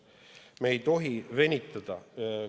Me ei tohi venitada.